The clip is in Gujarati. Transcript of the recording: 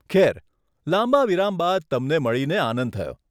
ખેર, લાંબા વિરામ બાદ તમને મળીને આનંદ થયો.